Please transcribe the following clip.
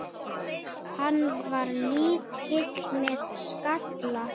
Hann var lítill með skalla.